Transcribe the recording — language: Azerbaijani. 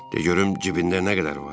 De görüm cibində nə qədər var?